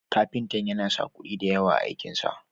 Kafintan yana sa kuɗi da yawa a aikin sa.